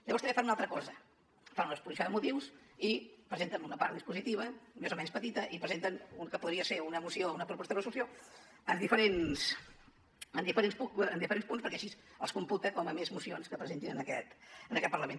llavors també fan una altra cosa fan una exposició de motius i presenten una part dispositiva més o menys petita i presenten el que podria ser una moció o una proposta de resolució en diferents punts perquè així els computa com a més mocions que presenten en aquest parlament